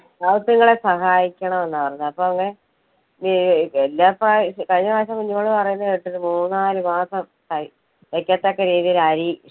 പാവത്തുങ്ങളെ സഹായിക്കണം എന്ന പറയുന്നേ. അപ്പൊ എല്ലാ പ്രാവശ്യം കഴിഞ്ഞ മാസം കുഞ്ഞുമോള് പറയുന്നത് കേട്ട് ഒരു മൂന്നാല് മാസം കഴി~കഴിക്കത്തക്ക രീതിയില് അരി,